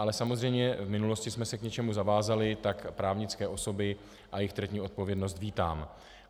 Ale samozřejmě v minulosti jsme se k něčemu zavázali, tak právnické osoby a jejich trestní odpovědnost vítám.